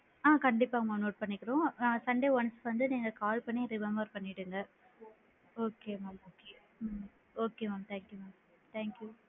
ஆ கண்டிப்பா mam note பண்ணிக்கிறோம், ஆ sunday once வந்து call பண்ணி remember பண்ணிகோங்க okay mam உம் okay mam, thank you mam, thank you